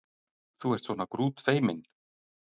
Þú ert svona grútfeiminn!